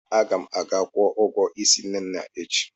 Aga m aga kwụọ ụgwọ ísí Nne na echi.